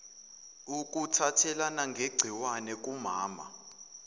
ukuthathelana ngegciwane kukamama